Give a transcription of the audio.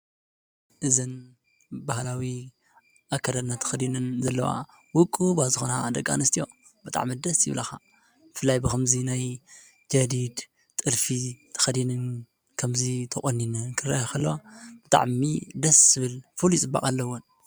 እዘን ባህላዊ ኣካዳድና ተኸዲነን ዘለዋ ውቁባት ዝኾና ደቂ ኣንስትዮ ብጣዕሚ ደስ ዝብላኻ፡፡ ብፍላይ ብኸምዚ ናይ ጀዲድ፣ ጥልፊ ተኸዲነን ከምዚ ተቆኒን ክረአያ ከለዋ ብጣዕሚ ደስ ዝብል ፍሉይ ፅባቐ ኣለወን፡፡